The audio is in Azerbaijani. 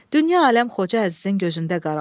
Dünya-aləm Xoca Əzizin gözündə qaraldı.